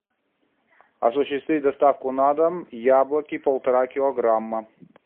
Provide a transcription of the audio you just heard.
осуществить доставку на дом яблоки полтора килограмма